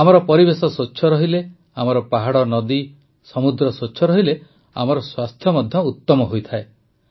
ଆମର ପରିବେଶ ସ୍ୱଚ୍ଛ ରହିଲେ ଆମର ପାହାଡ଼ନଦୀ ସମୁଦ୍ର ସ୍ୱଚ୍ଛ ରହିଲେ ଆମର ସ୍ୱାସ୍ଥ୍ୟ ମଧ୍ୟ ଉତମ ହୋଇଯାଏ